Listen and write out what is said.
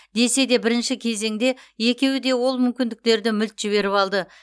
десе де бірінші кезеңде екеуі де ол мүмкіндіктерді мүлт жіберіп алды